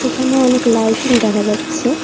এখানে অনেক লাইটিং দেখা যাচ্ছে।